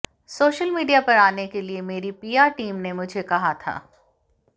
social media पर आने के लिए मेरी पीआर टीम ने मुझे कहा था